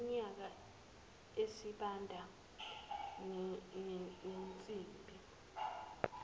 ngimyeka isibanda nensimbi